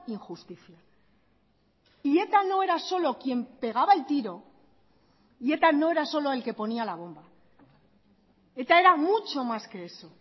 injusticia y eta no era solo quien pegaba el tiro y eta no era solo el que ponía la bomba eta era mucho más que eso